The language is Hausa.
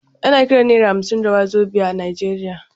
Ana kiran naira hamsin da wazobia a Najeriya.